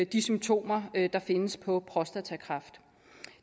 de symptomer der findes på prostatakræft